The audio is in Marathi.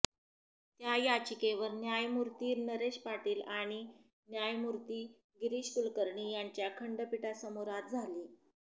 त्या याचिकेवर न्यायमूर्ती नरेश पाटील आणि न्यायमूर्ती गिरीष कुलकर्णी यांच्या खंडपीठासमोर आज झाली